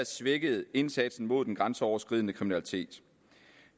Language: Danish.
svækket indsatsen mod den grænseoverskridende kriminalitet